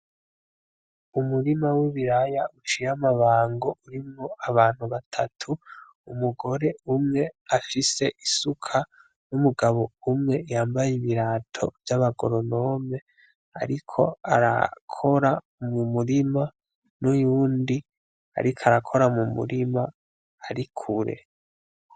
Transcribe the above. Umurima w'ibiraya uciye amabango urimwo abantu batatu, umugore umwe afise isuka; n'umugabo umwe yambaye ibirato vy'abagoronome ariko arakora mu murima; n'uyundi ariko arakora mu murima ari kure.